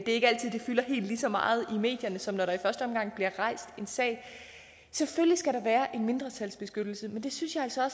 ikke altid at det fylder helt lige så meget i medierne som når der i første omgang bliver rejst en sag selvfølgelig skal der være en mindretalsbeskyttelse men det synes jeg altså